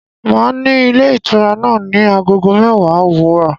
Màá à ní ilé ìtura náà ní Agogo mẹ́wàá òwúrọ̀